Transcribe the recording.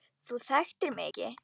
Þú þekktir mig ekki.